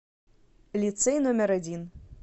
лицей номер один